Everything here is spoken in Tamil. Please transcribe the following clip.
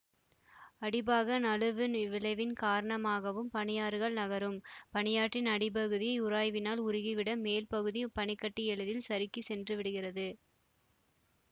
அடிபாக நழுவு விளைவின் காரணமாகவும் பனியாறுகள் நகரும் பனியாற்றின் அடிபகுதி உராய்வினால் உருகி விட மேல் பகுதி பனிகட்டி எளிதில் சறுக்கி சென்று விடுகிறது